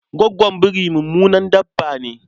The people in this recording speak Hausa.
Gwaggon biri mummunan dabba ne.